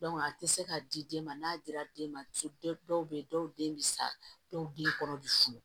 a tɛ se ka di den ma n'a dira den ma dɔw bɛ yen dɔw den bɛ sa dɔw bɛ den kɔnɔ bɛ funu